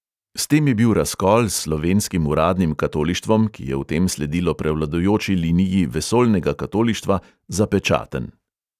S tem je bil razkol s slovenskim uradnim katolištvom, ki je v tem sledilo prevladujoči liniji vesoljnega katolištva, zapečaten.